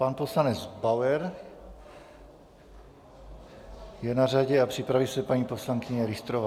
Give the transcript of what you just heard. Pan poslanec Bauer je na řadě a připraví se paní poslankyně Richterová.